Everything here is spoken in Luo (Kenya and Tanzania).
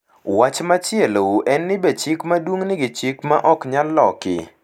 Wach machielo en ni be chik maduong’ nigi chike ma ok nyal loki.